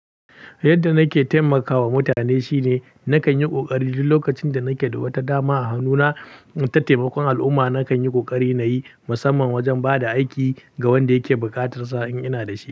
Yadda nake taimakawa mutane shine nakan yi ƙoƙari duk lokacin da nake da wata dama a hannuna ta taimakon al'umma. Nakan yi ƙoƙari na yi musamman wajen ba da aiki ga wanda yake bukatarsa in ina da shi.